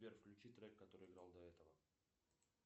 сбер включи трек который играл до этого